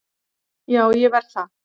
Já, ég verð það